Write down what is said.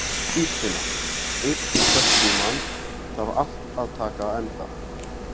Dýrfinna, einhvern tímann þarf allt að taka enda.